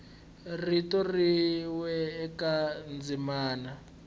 rito rin we eka ndzimana